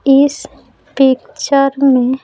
इस पिक्चर में--